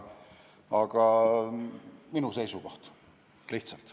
Minu seisukoht on selline.